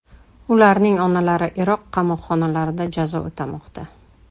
Ularning onalari Iroq qamoqxonalarida jazo o‘tamoqda.